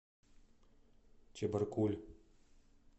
чебаркуль